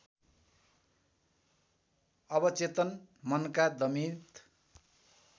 अवचेतन मनका दमित